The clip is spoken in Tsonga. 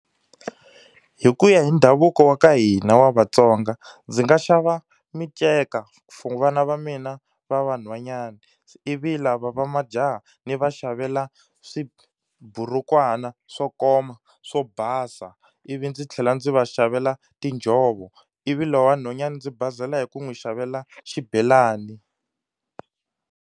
Hi ku ya hi ndhavuko wa ka hina wa vatsonga ndzi nga xava minceka for vana va mina va vanhwanyani ivi lava va majaha ni va xavela swiburukwana swo koma swo basa ivi ndzi tlhela ndzi va xavela tinjhovo ivi lowa nhwanyana ndzi basela hi ku n'wi xavela xibelani